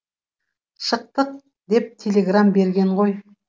шықтық деп телеграм берген ғой